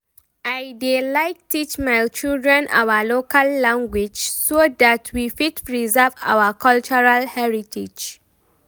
I dey like teach my children our local language so that we fit preserve our cultural heritage